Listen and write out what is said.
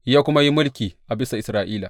Ya kuma yi mulki a bisa Isra’ila.